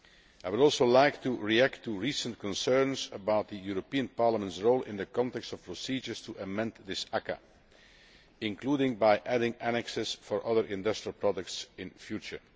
I would also like to react to recent concerns about Parliament's role in the context of procedures to amend this ACAA, including by adding annexes for other industrial products in future.